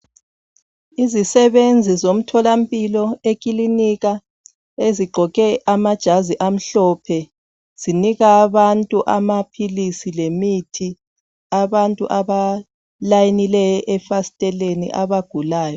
Izisebenzi zomtholampilo ekilinika ezigqoke amajazi amhlophe zinika abantu amaphilisi lemithi abantu abalayinileyo efasiteleni abagulayo.